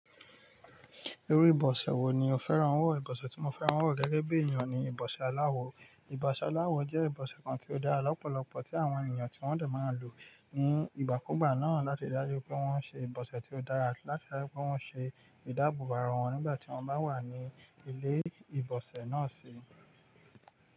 Oru ìbòsè wo ni o fẹ́ràn wọ̀? Ìbòsè tí mo fẹ́ràn wọ̀ gẹ́gẹ́ bí ènìyàn ni ìbòsè aláwọ. Ìbòsè aláwọ jẹ́ ìbòsè kan tí ó dára lọ́pọ̀lọpọ̀ tí àwọn ènìyàn tí wọ́n de máa ń lò ní ìgbàkúgbà náà láti dájú pé wọ́n ṣe ìbòsè tí ó dára àti láti dájú pé wọ́n ṣe ìdábòbo ara wọn nígbà tí wọ́n bá wà ní ilé ìbòsè náà sí.